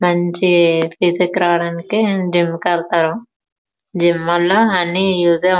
మంచి ఫీచర్ రావడానికి జిం కి వెళ్లుతారు. జిం వాల మంచి ఉపయోగం వుంటుంది.